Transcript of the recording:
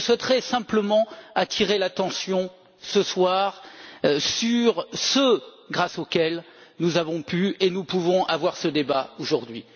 Je souhaiterais simplement attirer l'attention, ce soir, sur ceux grâce à qui nous avons pu et nous pouvons avoir ce débat aujourd'hui.